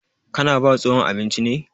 Ka na ba tsohon abinci ne?